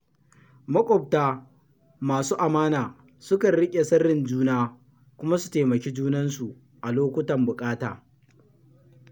Maƙwabta masu amana sukan riƙe sirrin juna kuma su taimaki junansu a lokutan buƙata.